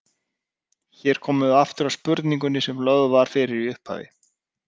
Hér komum við aftur að spurningunni sem lögð var fyrir í upphafi.